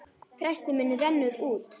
Frestur minn rennur út.